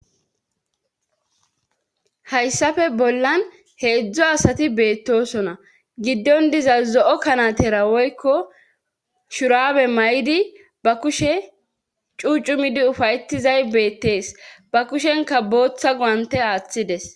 Hayssafe bollan he edzdzo asati beettosona giddon diza zo'o kanatera woykko shurabe may'idi ba kushe cuucumidi ufayetizay beettees ba kushenka booththa goante aaththides.